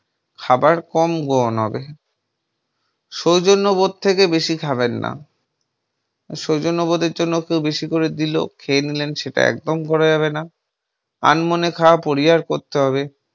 খাবার কম গ্রহণ হবে। সৌজন্য বোধ থেকে বেশি খাবেন না। সৌজন্যবোধের জন্য কেউ বেশি করে দিল খেয়ে নিলেন সেটা একদম করা যাবেনা। আনমনে খাওয়া পরিহার করতে হবে।